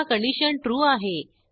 पुन्हा condition true आहे